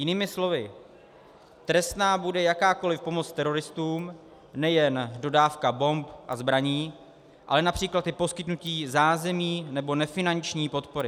Jinými slovy, trestná bude jakákoliv pomoc teroristům, nejen dodávka bomb a zbraní, ale například i poskytnutí zázemí nebo nefinanční podpory.